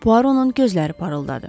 Puaronun gözləri parıldadı.